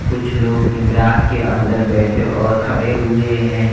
कुछ लोग इमरात के अंदर बैठे और खड़े हुए हैं।